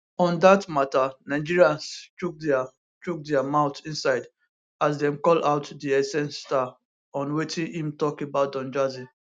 on dat mata nigerians chook dia chook dia mouth inside as dem call out di essence star on wetin im tok about don jazzy